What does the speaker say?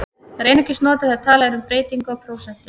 Það er einungis notað þegar talað er um breytingu á prósentu.